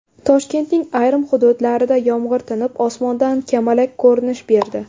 Toshkentning ayrim hududlarida yomg‘ir tinib, osmonda kamalak ko‘rinish berdi.